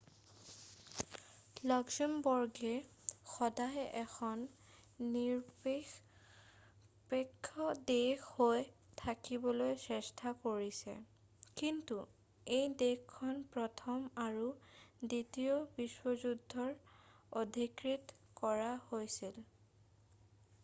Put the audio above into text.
লাক্সামবৰ্গে সদায় এখন নিৰপেক্ষ দেশ হৈ থাকিবলৈ চেষ্টা কৰিছে কিন্তু এই দেশখন প্ৰথম আৰু দ্বিতীয় বিশ্বযুদ্ধত অধিকৃত কৰা হৈছিল